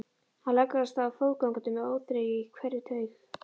Hann leggur af stað fótgangandi með óþreyju í hverri taug.